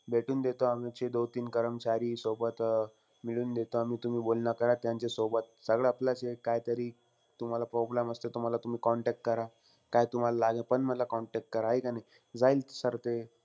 भेटवून देतो आमचे दोन-तीन कर्मचारी सोबत. अं मिळवून देतो आम्ही. तुम्ही बोल बोलणं करा त्यांच्यासोबत. सगळं आपल्याला जे काहीतरी, तुम्हाला problem असते तुम्हाला. तुम्ही contact करा. काय तुम्हाला लागेल पण मला contact करा. हाय का नाई? जाईल sir ते,